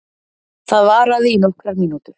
Það varaði í nokkrar mínútur.